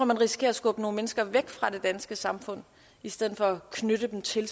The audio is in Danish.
man risikerer at skubbe nogle mennesker væk fra det danske samfund i stedet for at knytte dem til